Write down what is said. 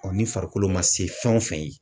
ni farikolo ma se fɛn o fɛn ye